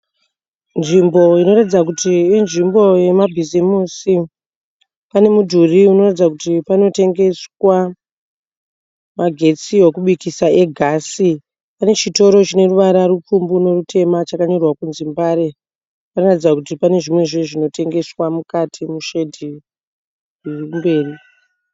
Nzvimbo inoratidza kuti inzvimbo yemabhizimusi. Pane mudhuri unoratidza kuti panotengeswa magetsi ekubikisa egasi. Pane chitoro chine ruvara rupfumbu nerutema chanyorwa kunzi Mbare. Panoratidza kuti pane zvimwezve zvinotengeswa mukati meshedhi iri kumberi.